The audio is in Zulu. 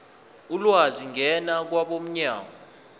ulwazi ngena kwabomnyango